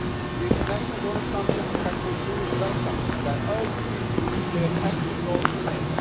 The International Donors Conference in Kathmandu is welcome, and I urge the EU to play an active role in it.